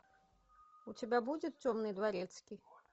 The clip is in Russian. у тебя будет темный дворецкий